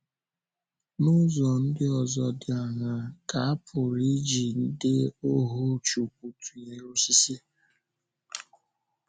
N’ụzọ ndị ọzọ dị áṅaa ka a pụrụ iji ndị ọhù Chukwu tụnyere osisi?